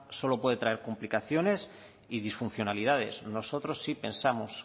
solo puede traer complicaciones y disfuncionalidades nosotros sí pensamos